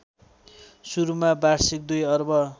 सुरुमा वाषिर्क २ अर्ब